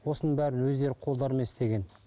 осының бәрін өздері қолдарымен істеген